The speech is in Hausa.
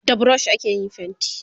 da brush ake yin fainti